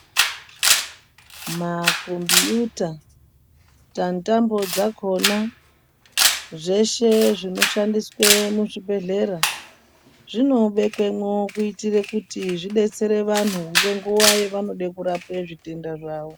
Makombiyuta tanitambo dzakona zveshe zvinoshandiswe muzvibhedhlera. Zvinobekwemwo kuitire kuti zvidetsere vantu ngenguva yavanode kurapwe zvitenda zvawo.